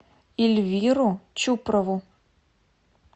эльвиру чупрову